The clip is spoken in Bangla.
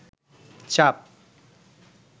চাপ